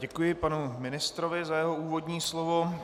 Děkuji panu ministrovi za jeho úvodní slovo.